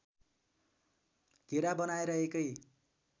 घेरा बनाएर एकै